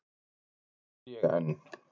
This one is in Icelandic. En hér er ég enn.